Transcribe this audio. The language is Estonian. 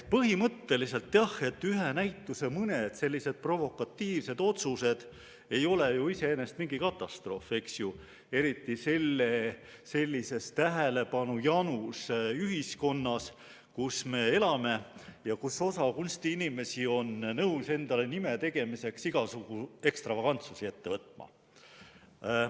Põhimõtteliselt jah, ühe näituse puhul mõni selline provokatiivne otsus ei ole ju iseenesest mingi katastroof, eriti sellises tähelepanujanus ühiskonnas, kus me elame ja kus osa kunstiinimesi on nõus endale nime tegemiseks igasuguseid ekstravagantsusi ette võtma.